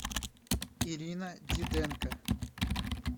ирина диденко